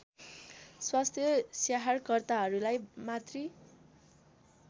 स्वास्थ्य स्याहारकर्ताहरूलाई मातृ